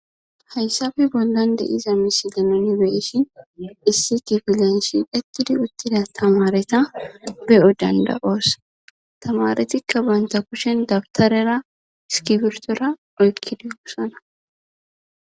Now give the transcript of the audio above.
Hayssabi bollande iza misi danoni beyishi issi difilenshi detidi uttida tamareta be'o dandawoosa tamaretikka banta kushen dabtarera skifirtora oykkidehosana